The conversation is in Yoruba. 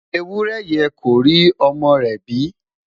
ewúrẹ yẹ kó rí ọmọ rè bi